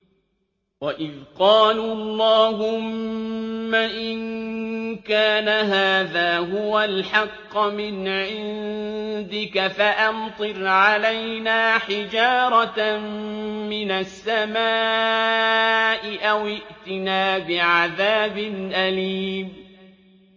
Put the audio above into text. وَإِذْ قَالُوا اللَّهُمَّ إِن كَانَ هَٰذَا هُوَ الْحَقَّ مِنْ عِندِكَ فَأَمْطِرْ عَلَيْنَا حِجَارَةً مِّنَ السَّمَاءِ أَوِ ائْتِنَا بِعَذَابٍ أَلِيمٍ